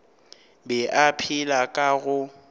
be a phela ka go